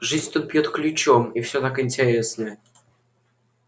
жизнь тут бьёт ключом и все так интересно